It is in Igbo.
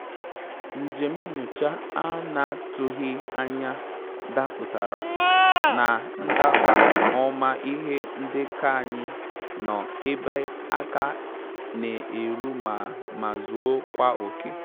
Njèm nyòchá á nà-àtụ́ghị́ ányà dàpụ́tàrà, nà ndàbà-ọ́mà ìhè ndékọ́ ànyị́ nọ́ ébè áká n’é rù mà mà zùò kwá òké.